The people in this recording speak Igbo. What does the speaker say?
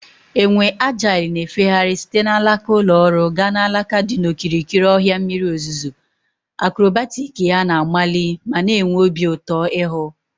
Enwe agile na-efegharị site n'alaka ụlọ ọrụ gaa n'alaka dị n'okirikiri ọhịa mmiri ozuzo, akrobatic ya na-amali ma na-enwe obi ụtọ ịhụ.